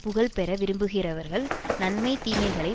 புகழ் பெற விரும்புகிறவர்கள் நன்மை தீமைகளை